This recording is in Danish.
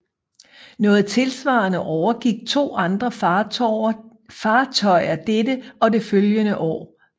Noget tilsvarende overgik to andre fartøjer dette og det følgende år